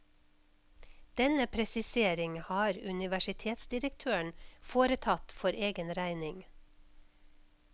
Denne presisering har universitetsdirektøren foretatt for egen regning.